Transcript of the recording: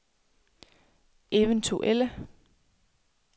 eventuelle